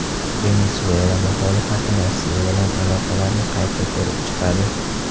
Venesuela muxolifati Rossiya bilan aloqalarni qayta ko‘rib chiqadi.